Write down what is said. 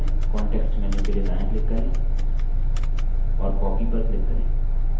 बादल चुनें context menu के लिए दायाँ click करें और copy पर click करें